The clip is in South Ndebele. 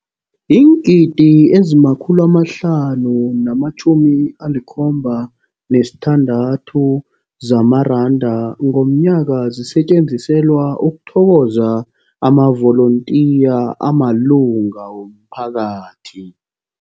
Iingidi ezima-576 zamaranda ngomnyaka zisetjenziselwa ukuthokoza amavolontiya amalunga womphakathi.